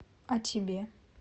а тебе